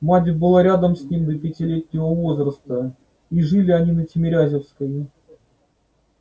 мать была рядом с ним до пятилетнего возраста и жили они на тимирязевской